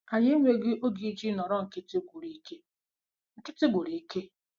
Anyị enweghị oge iji nọrọ nkịtị gwụrụ ike nkịtị gwụrụ ike